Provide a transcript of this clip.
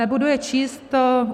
Nebudu je číst.